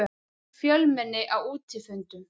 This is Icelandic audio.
Fjölmenni á útifundum